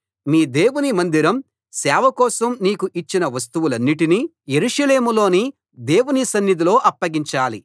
మీ దేవుని మందిరం సేవ కోసం నీకు ఇచ్చిన వస్తువులన్నిటినీ యెరూషలేములోని దేవుని సన్నిధిలో అప్పగించాలి